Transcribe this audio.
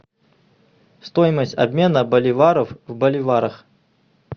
стоимость обмена боливаров в боливарах